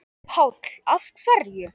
Páll: Af hverju?